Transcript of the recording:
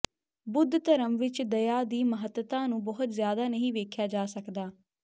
ਬੁੱਧ ਧਰਮ ਵਿਚ ਦਇਆ ਦੀ ਮਹੱਤਤਾ ਨੂੰ ਬਹੁਤ ਜ਼ਿਆਦਾ ਨਹੀਂ ਵੇਖਿਆ ਜਾ ਸਕਦਾ